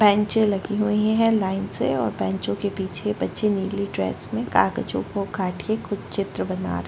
बेंचे लगी हुई है लाइन से और बेंचो के पीछे बच्चे नीली ड्रेस में कागजों को काट के कुछ चित्र बना रहै --